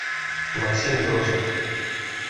максим грошев